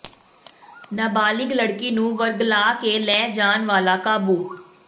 ਨਬਾਲਿਗ ਲੜਕੀ ਨੂੰ ਵਰਗਲਾ ਕੇ ਲੈ ਜਾਣ ਵਾਲਾ ਕਾਬੂ